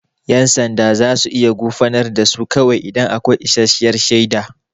Yan sanda za su iya gurfanar da su kawai idan akwai isasshiyar shaida.